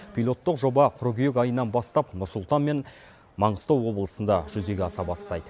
пилоттық жоба қыркүйек айынан бастап нұр сұлтан мен маңғыстау облысында жүзеге аса бастайды